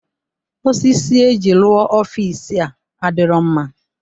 Osisi eji rụọ ọfịs a adirọ mma.